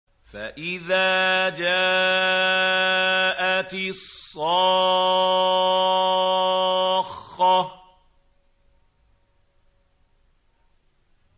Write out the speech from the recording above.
فَإِذَا جَاءَتِ الصَّاخَّةُ